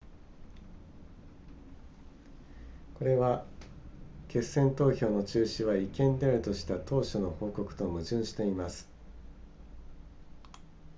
これは決選投票の中止は違憲であるとした当初の報告と矛盾しています